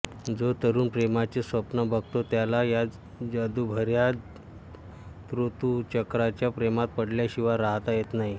जो तरुण प्रेमाचे स्वप्न बघतो त्याला या जादुभऱ्या ऋतुचक्राच्या प्रेमात पडल्याशिवाय राहता येत नाही